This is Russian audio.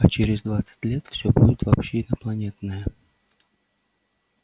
а через двадцать лет все будет вообще инопланетное